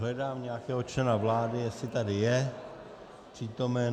Hledám nějakého člena vlády, jestli tady je přítomen.